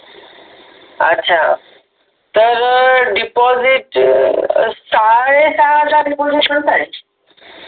अच्छा तर डिपॉझिट साडेसहा हजार